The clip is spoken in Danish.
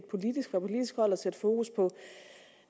politisk hold at sætte fokus på